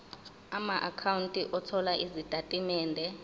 amaakhawunti othola izitatimende